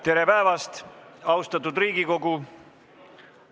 Tere päevast, austatud Riigikogu!